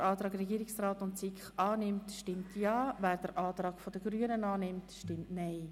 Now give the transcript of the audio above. Wer den Antrag Regierungsrat/SiK annimmt, stimmt Ja, wer den Antrag Grüne/Machado bevorzugt, stimmt Nein.